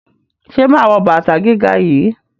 Ṣé mà á wọ bàtà gíga yìí?